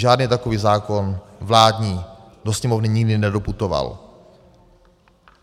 Žádný takový zákon vládní do Sněmovny nikdy nedoputoval.